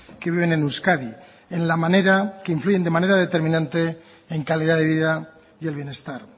que viven en euskadi en la manera que influyen de manera determinante en calidad de vida y el bienestar